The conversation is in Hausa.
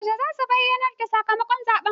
Yaushe za su bayyanar da sakamakon zaɓen?